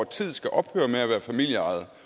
tiden skal ophøre med at være familieejede